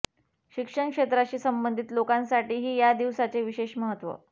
शिक्षण क्षेत्राशी संबंधित लोकांसाठीही या दिवसाचे विशेष महत्त्व